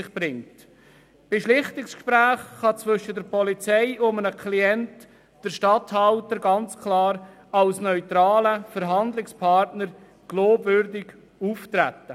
Bei Schlichtungsgesprächen zwischen der Polizei und einem Klienten kann der Regierungsstatthalter ganz klar als neutraler Verhandlungspartner glaubwürdig auftreten.